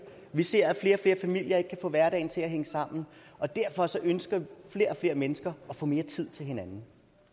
vi ser at flere og flere familier ikke kan få hverdagen til at hænge sammen og derfor ønsker flere og flere mennesker at få mere tid til hinanden